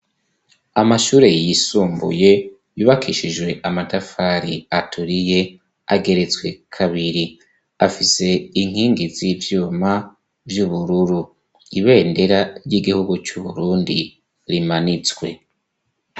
Amashure yisumbuye yubakishijwe amatafari aturiye ageretswe kabiri, afise inkingi z'ivyuma vy'ubururu, ibendera ry'igihugu c'Uburundi rimanitswe.